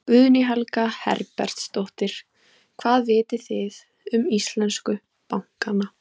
Guðný Helga Herbertsdóttir: Hvað vitið þið um íslensku bankana?